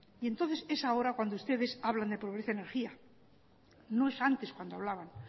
y entonces es ahora cuando ustedes hablan de pobreza energía no es antes cuando hablaban